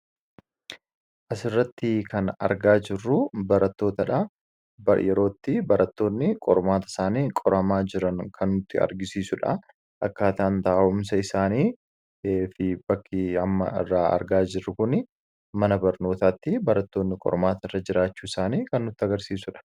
asirratti kan argaa jirru barattootaa dha yerootti barattoonni qormaata isaanii qoramaa jiran kannutti argisiisuudha akkaataan taa'umsa isaanii fi bakkii amma irraa argaa jirru kun mana barnootaatti barattoonni qormaata irra jiraachuu isaanii kannutti agarsiisudha